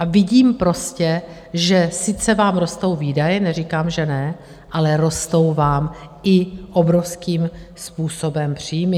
A vidím prostě, že vám sice rostou výdaje, neříkám, že ne, ale rostou vám i obrovským způsobem příjmy.